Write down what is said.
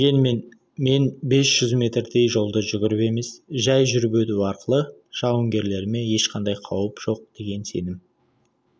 дегенмен мен бес жүз метрдей жолды жүгіріп емес жай жүріп өту арқылы жауынгерлеріме ешқандай қауіп жоқ деген сенім